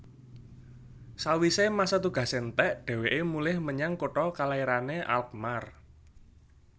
Sawisé masa tugasé entèk dhèwèké mulih menyang kutha kalairané Alkmaar